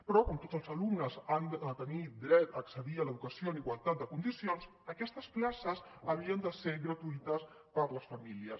però com tots els alumnes han de tenir dret a accedir a l’educació en igualtat de condicions aquestes places havien de ser gratuïtes per a les famílies